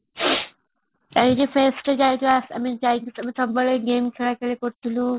green shart ଇଏ କାରୁଥିଳୁ